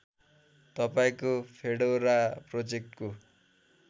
तपाईँको फेडोरा प्रोजेक्टको